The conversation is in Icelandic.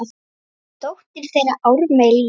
Dóttir þeirra: Ármey Líf.